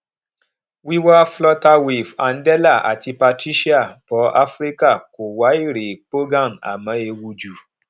wíwá flutterwave andela àti patricia bò áfíríkà kó wá èrè pògan àmó ewu ju